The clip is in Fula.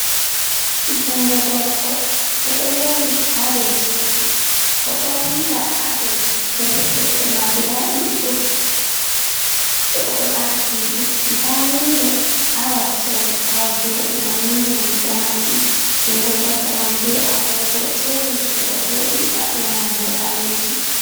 Jungo gorko o do yowi ado tebul o do winda hado deftere, defte man guda didi on o do ardini de, da windo ha wakkere awo jodi mam windo man do mabbi jungo goddo man be agogo tebul je o jodi hado man bo balejum.